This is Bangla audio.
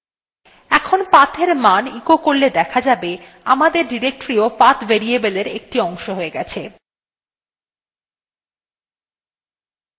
এখন pathএর মান echo করলে দেখা যাবে